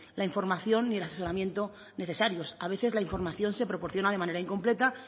la información ni el asesoramiento necesario a veces la información se proporciona de manera incompleta